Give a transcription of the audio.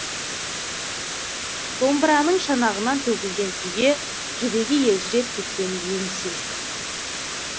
домбыраның шанағынан төгілген күйге жүрегі елжіреп кеткенін енді сезді